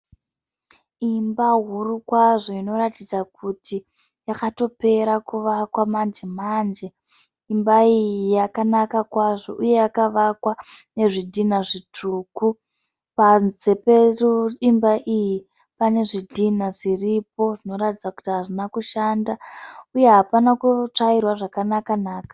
Imba huru kwazvo inoratidza kuti yakatopera kuvakwa manje manje. Imba iyi yakanaka kwazvo uye yakavakwa nezvidhina zvitsvuku. Panze peimba iyi pane zvidhinha zviripo zvinoratidza kuti hazvina kushanda uye hapana kutsvairwa zvakanaka-naka.